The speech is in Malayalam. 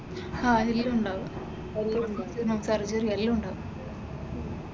ആഹ് എല്ലാമുണ്ടാകും ഹും സർജെറി അറിഞ്ഞുള്ള എല്ലാമുണ്ടാകും.